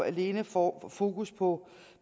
alene fokus fokus på